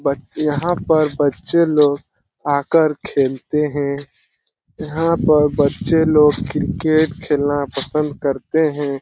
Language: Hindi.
यहाँ पर बच्चे लोग आकर खेलते हैं यहाँ पर बच्चे लोग क्रिकेट खेलना पसंद करते हैं ।